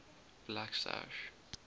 blacksash